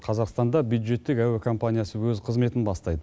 қазақстанда бюджеттік әуе компаниясы өз қызметін бастайды